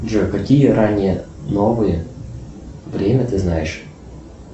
джой какие ранние новые время ты знаешь